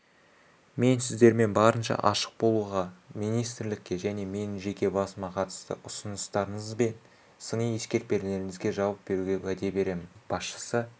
мен сіздермен барынша ашық болуға министрлікке және менің жеке басыма қатысты ұсыныстарыңыз бен сыни-ескертпелеріңізге жауап беруге уәде беремін басшысы